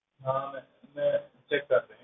ਹਾਂ ma'am ਮੈਂ check ਕਰ ਰਿਹਾਂ,